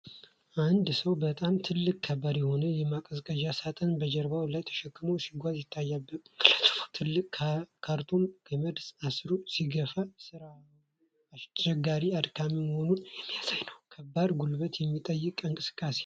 አንድ ሰው በጣም ትልቅና ከባድ የሆነ የማቀዝቀዣ ሳጥን በጀርባው ላይ ተሸክሞ ሲጎነብስ ይታያል። ግለሰቡ ትልቁን ካርቶን በገመድ አስሮ ሲገፋ ፤ ሥራው አስቸጋሪና አድካሚ መሆኑን የሚያሳይ ነው። ከባድ ጉልበት የሚጠይቅ እንቅስቃሴ ነው።